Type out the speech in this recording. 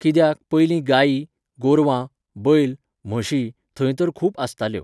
कित्याक, पयलीं गायी, गोरवां, बैल, म्हशी, थंय तर खूप आसताल्यो.